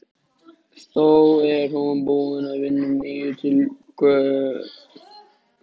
Þó er hún búin að vinna nýju tillögurnar fyrir